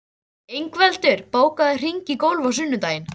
Ingveldur, bókaðu hring í golf á sunnudaginn.